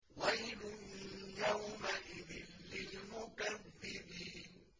وَيْلٌ يَوْمَئِذٍ لِّلْمُكَذِّبِينَ